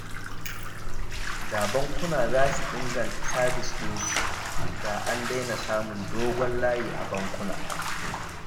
Da bankuna za su inganta sabis ɗinsu, da an daina samun dogon layi a bankuna